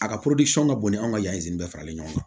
A ka ka bon ni anw ka yanni bɛɛ faralen ɲɔgɔn kan